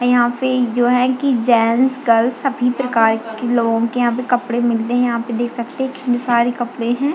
और यहाँ पे ये जो हैं की जेंट्स गर्ल्स सभी प्रकार के लोगो के यहाँ पे कपडे मिलते हैं यहाँ पे देख सकते हैं कितने सारे कपड़े हैं।